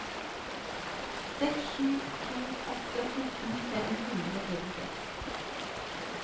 seks sju to åtte fjorten fem hundre og trettiseks